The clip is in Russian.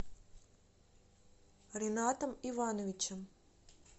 ринатом ивановичем